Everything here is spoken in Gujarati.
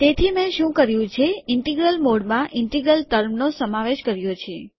તેથી મેં શું કર્યું છે ઇન્ટિગ્રલ મોડમાં ઇન્ટિગ્રલ ટર્મનો સમાવેશ કર્યો છે